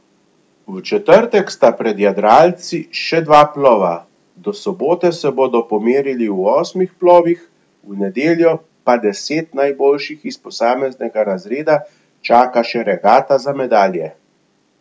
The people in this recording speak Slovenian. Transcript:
V četrtek sta pred jadralci še dva plova, do sobote se bodo pomerili v osmih plovih, v nedeljo pa deset najboljših iz posameznega razreda čaka še regata za medalje.